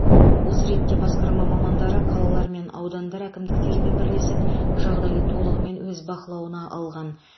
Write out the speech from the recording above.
осы ретте басқарма мамандары қалалар мен аудандар әкімдіктерімен бірлесіп жағдайды толығымен өз бақылауына алған